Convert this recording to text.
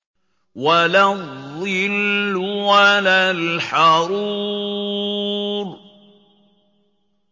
وَلَا الظِّلُّ وَلَا الْحَرُورُ